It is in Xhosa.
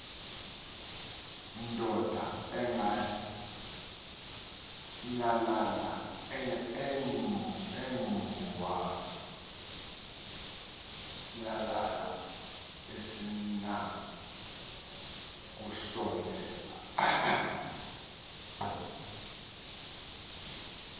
ndoda ingwanyalala asinakusondela